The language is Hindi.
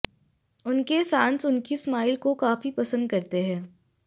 उनके फैंस उनकी स्माइल को काफी पसंद करते है